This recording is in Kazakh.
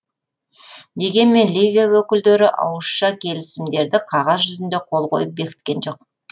дегенмен ливия өкілдері ауызша келісімдерді қағаз жүзінде қол қойып бекіткен жоқ